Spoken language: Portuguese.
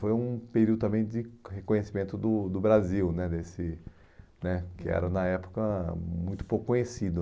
Foi um período também de reconhecimento do do Brasil né desse né, que era na época hum muito pouco conhecido.